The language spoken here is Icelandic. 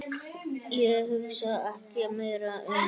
Ég hugsaði ekki meira um